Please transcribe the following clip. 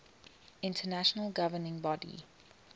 international governing body